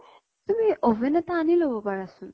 তুমি oven এটা আনি লʼব পাৰা চোন ?